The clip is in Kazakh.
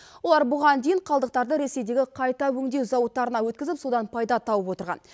олар бұған дейін қалдықтарды ресейдегі қайта өңдеу зауыттарына өткізіп содан пайда тауып отырған